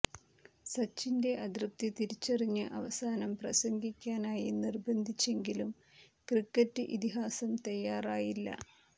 സച്ചിന്റെ അതൃപ്തി തിരിച്ചറിഞ്ഞ് അവസാനം പ്രസംഗിക്കാനായി നിർബന്ധിച്ചെങ്കിലും ക്രിക്കറ്റ് ഇതിഹാസം തയ്യാറായില്ല